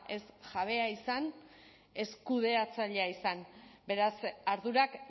ez jabea izan ez kudeatzailea izan beraz ardurak